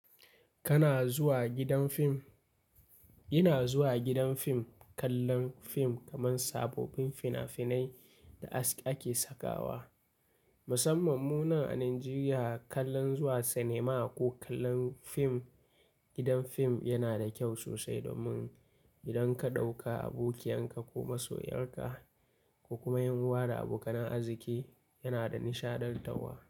Kana zuwa gidan fim? Ina zuwa gidan fim, kallon fim kamar sabobbin fina-finai da ake sakawa. Musamman mu nan a Najeriya, kallon zuwa sinima ko kallon fim gidan fim yana da kyau sosai domin idan ka ɗauka abokiyan ka ko masoyar ka ko kuma ƴan uwa abokan arziki yana da nishaɗantarwa.